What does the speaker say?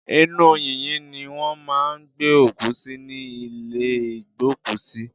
Inú yìnyín ni wọ́n máà ń gbé òkú sí ní ìlé ìgbókùsí.